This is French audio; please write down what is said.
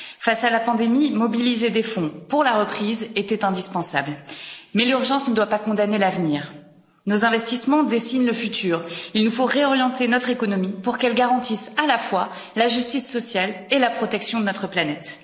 Face à la pandémie, mobiliser des fonds pour la reprise était indispensable. Mais l'urgence ne doit pas condamner l'avenir. Nos investissements dessinent le futur, il nous faut réorienter notre économie pour qu'elle garantisse à la fois la justice sociale et la protection de notre planète.